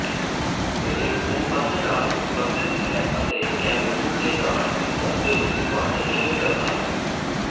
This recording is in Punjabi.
ਇਹ ਭੂਮੱਧ ਨਾਲ ਸਬੰਧਿਤ ਹੈ ਅਤੇ ਕੈਮਰੂਨ ਦੇ ਨਾਲ ਇੱਕ ਅੰਦਰੂਨੀ ਬਾਰਡਰ ਸ਼ੇਅਰ ਕਰਦਾ ਹੈ